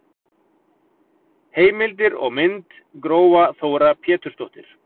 Heimildir og mynd: Gróa Þóra Pétursdóttir.